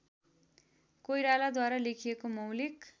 कोइरालाद्वारा लेखिएको मौलिक